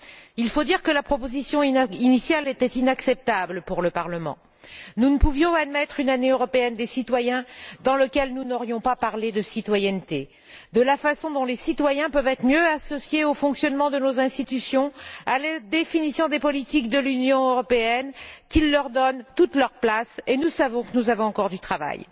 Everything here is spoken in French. Il faut dire que la proposition initiale était inacceptable pour le Parlement. Nous ne pouvions admettre une Année européenne des citoyens dans le cadre de laquelle nous n'aurions pas parlé de citoyenneté, de la façon dont les citoyens peuvent être mieux associés au fonctionnement de nos institutions, à la définition de politiques de l'Union européenne qui leur donnent toute leur place. Et nous savons que nous avons encore du travail.